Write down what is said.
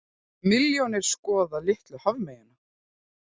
Milljónir skoða litlu hafmeyjuna